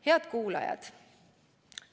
Head kuulajad!